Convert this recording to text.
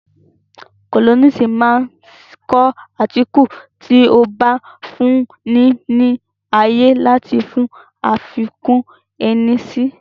Kólọ́nisi máa ń kọ átíkù tí ó máa ń fún ni ní ààyè láti fi àfikún ẹni si